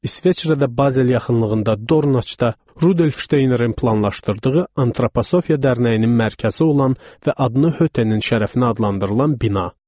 İsveçrədə Basel yaxınlığında Dornaçda Rudolf Şteynerin planlaşdırdığı Antroposofiya Dərnəyinin mərkəzi olan və adını Hötenin şərəfinə adlandırılan bina.